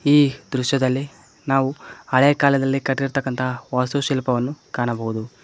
ಈ ದೃಶ್ಯದಲ್ಲಿ ನಾವು ಹಳೆ ಕಾಲದಲ್ಲಿ ಕಟ್ಟಿರ್ತಕ್ಕಂತ ವಾಸ್ತುಶಿಲ್ಪವನ್ನು ಕಾಣಬಹುದು.